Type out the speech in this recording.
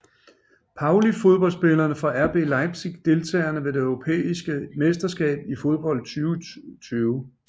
Pauli Fodboldspillere fra RB Leipzig Deltagere ved det europæiske mesterskab i fodbold 2020